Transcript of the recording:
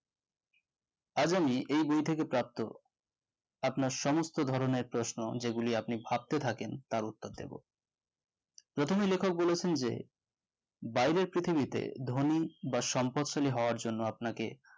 এই বই থেকে প্রাপ্ত আপনার সমস্ত ধরণের প্রশ্ন যেগুলি আপনি ভাবতে থাকেন তার উত্তর দেব প্রথমে লেখক বলেছেন যে বাইরের পৃথিবীতে ধনী বা সম্পদশালী হওয়ার জন্য আপনাকে